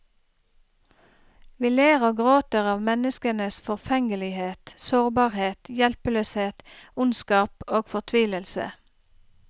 Vi ler og gråter av menneskenes forfengelighet, sårbarhet, hjelpeløshet, ondskap og fortvilelse.